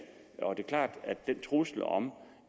det er klart at den trussel om